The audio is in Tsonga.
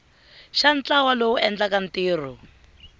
xa ntlawa lowu endlaka ntirho